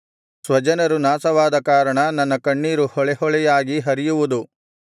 ಸ್ವಜನರು ನಾಶವಾದ ಕಾರಣ ನನ್ನ ಕಣ್ಣೀರು ಹೊಳೆಹೊಳೆಯಾಗಿ ಹರಿಯುವುದು